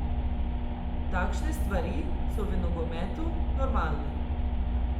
Takšne stvari so v nogometu normalne.